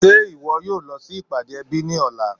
Ṣe iwọ yóò lọ sí ipádé èbí ni ọ̀lá?